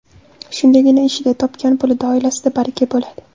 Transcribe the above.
Shundagina ishida, topgan pulida, oilasida baraka bo‘ladi.